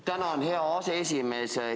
Tänan, hea aseesimees!